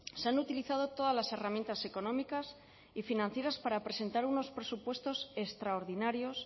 se han utilizado todas las herramientas económicas y financieras para presentar unos presupuestos extraordinarios